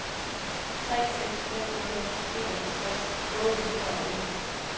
tre seks fem nul enoghalvfjerds otte hundrede og en